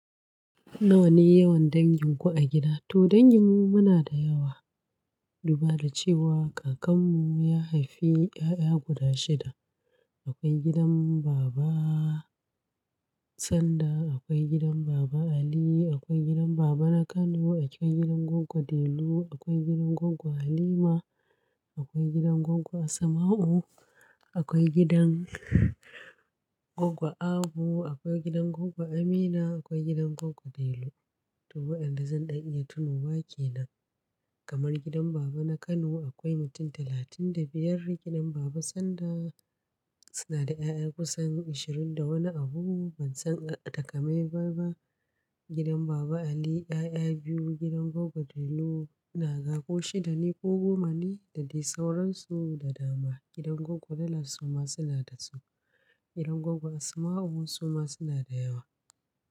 Nawa ne yawan dangin ku a gida? To dangin mu muna da yawa. Duba da cewa kakan mu ya haifi 'ya'ya guda shida. Akwai gidan baba Sanda, akwai gidan baba Ali, akwai gidan baba na Kano, akwai gidan goggo Delu, akwai gidan goggo Halima, akwai gidan goggo Asmau, akwai gidan goggo Abu, akwai gidan goggo Amina, akwai gidan goggo Delu. To wayanda zan ɗan iya tunowa ke nan. Kamar gidan baba na Kano akwai mutum talatin da biyar, gidan baba Sanda suna da 'ya'ya kusan ashirin da wani abu. Ban san takamaimai ba. Gidan baba Ali 'ya'ya biyu, gidan goggo Delu inaga ko shida ne ko goma ne da dai sauransu da dama. Gidan goggo Dallas suma suna da su. Gidan goggo Asmau suma suna da yawa.